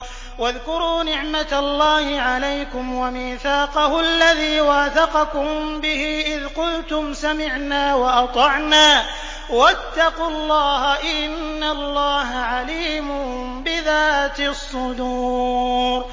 وَاذْكُرُوا نِعْمَةَ اللَّهِ عَلَيْكُمْ وَمِيثَاقَهُ الَّذِي وَاثَقَكُم بِهِ إِذْ قُلْتُمْ سَمِعْنَا وَأَطَعْنَا ۖ وَاتَّقُوا اللَّهَ ۚ إِنَّ اللَّهَ عَلِيمٌ بِذَاتِ الصُّدُورِ